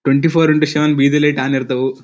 Twenty four into seven ಬೀದಿ light on ಇರ್ತವು.